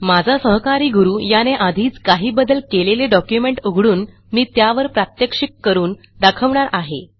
माझा सहकारी गुरू याने आधीच काही बदल केलेले डॉक्युमेंट उघडून मी त्यावर प्रात्यक्षिक करून दाखवणार आहे